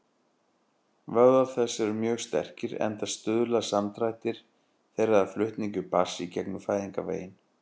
Vöðvar þess eru mjög sterkir, enda stuðla samdrættir þeirra að flutningi barns í gegnum fæðingarveginn.